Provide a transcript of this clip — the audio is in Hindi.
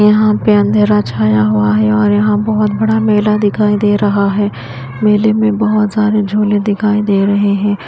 यहां पे अंधेरा छाया हुआ है और यहां बहोत बड़ा मेला दिखाई दे रहा है मेले में बहोत सारे झूले दिखाई दे रहे हैं।